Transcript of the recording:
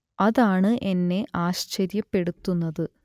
അതാണ് എന്നെ ആശ്ചര്യപ്പെടുത്തുന്നത്